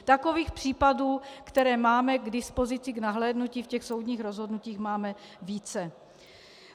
Takových případů, které máme k dispozici k nahlédnutí v těch soudních rozhodnutích, máme více.